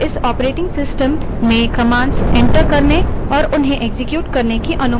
और इस operating system में commands enter करने और उन्हें एक्सक्यूट करने की अनुमति देता है